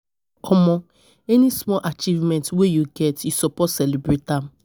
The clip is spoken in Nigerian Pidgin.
um Omo, any small achievement wey you get, you suppose celebrate am.